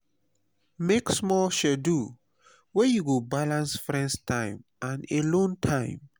make small schedule wey go balance friends time and alone time